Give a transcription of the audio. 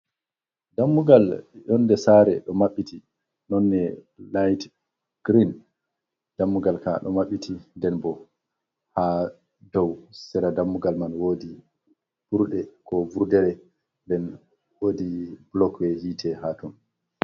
Dammugal yonde sare do mabbiti, nonne night green dammugal ka do mabbiti den bo ha dou sera dammugal man wodi burde ko vurdere nden wodi blok be yite ha ton.